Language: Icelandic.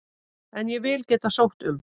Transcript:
En ég vil geta sótt um.